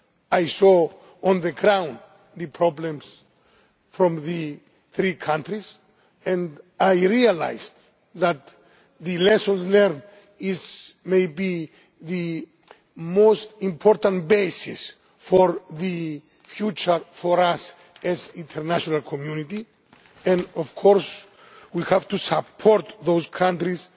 I saw on the ground the problems in those three countries and I realised that the lessons learned may be the most important basis for the future for us as an international community, and we of course have to support those countries